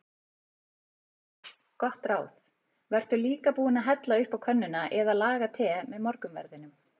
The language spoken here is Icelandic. Gott ráð: Vertu líka búinn að hella upp á könnuna eða laga te með morgunverðinum.